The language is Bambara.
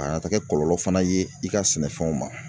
A kana taa kɛ kɔlɔlɔ fana ye i ka sɛnɛfɛnw ma